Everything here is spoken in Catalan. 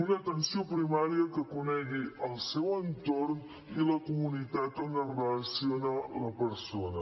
una atenció primària que conegui el seu entorn i la comunitat on es relaciona la persona